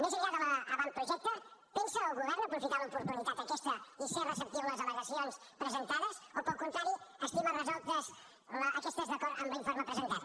més enllà de l’avantprojecte pensa el govern aprofitar l’oportunitat aquesta i ser receptiu a les al·legacions presentades o al contrari estima resoltes aquestes d’acord amb l’informe presentat